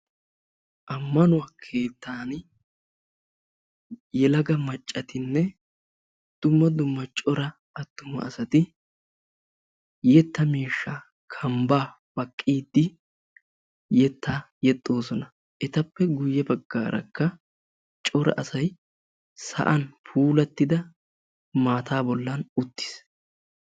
Ammanuwa keettan yelaga maccatinne dumma dumma cora attuma asati yetta miishshaa kambbaa baqqiiddi yettaa yexxoosona. Etappe guyye baggaarakka cora asayi sa"an puulattida maataa bollan uttis.